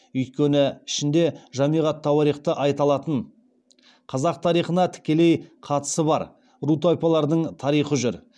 өйткені ішінде жамиғ ат тауарихта айталатын қазақ тарихына тікелей қатысы бар ру тайпалардың тарихы жүр